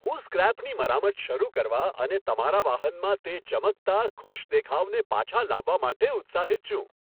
હું સ્ક્રેપની મરામત શરૂ કરવા અને તમારા વાહનમાં તે ચમકતા, ખુશ દેખાવને પાછા લાવવા માટે ઉત્સાહિત છું!